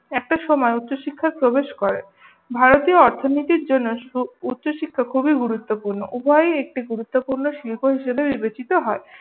একটা সময়ে উচ্চশিক্ষায় প্রবেশ করে। ভারতীয় অর্থনীতির জন্য সু উচ্চশিক্ষা খুবই গুরুত্বপূর্ণ। উভয়েই একটি গুরুত্বপূর্ণ শিল্প হিসেবে বিবেচিত হয়।